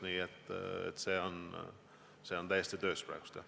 Nii et see on praegu täiesti töös.